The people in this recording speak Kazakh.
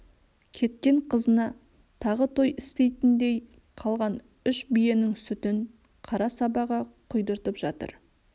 кеткен қызына тағы той істейтіндей қалған үш биенің сүтін қара сабаға кұйдыртып жатыр